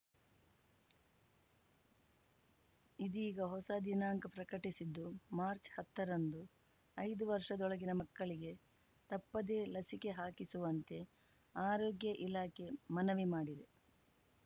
ಇದೀಗ ಹೊಸ ದಿನಾಂಕ ಪ್ರಕಟಿಸಿದ್ದು ಮಾರ್ಚ್ಹತ್ತರಂದು ಐದು ವರ್ಷದೊಳಗಿನ ಮಕ್ಕಳಿಗೆ ತಪ್ಪದೆ ಲಸಿಕೆ ಹಾಕಿಸುವಂತೆ ಆರೋಗ್ಯ ಇಲಾಖೆ ಮನವಿ ಮಾಡಿದೆ